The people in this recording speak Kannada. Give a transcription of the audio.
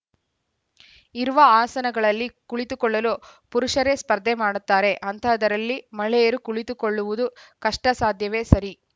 ಇರುವ ಆಸನಗಳಲ್ಲಿ ಕುಳಿತುಕೊಳ್ಳಲು ಪುರುಷರೆ ಸ್ಪರ್ಧೆ ಮಾಡುತ್ತಾರೆ ಅಂತಹದ್ದರಲ್ಲಿ ಮಹಿಳೆಯರು ಕುಳಿತುಕೊಳ್ಳುವುದು ಕಷ್ಟಸಾಧ್ಯವೆ ಸರಿ